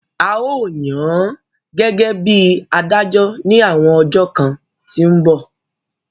A ó yàn án gẹ́gẹ́ bí adájọ́ ní àwọn ọjọ́ kan tí ń bọ̀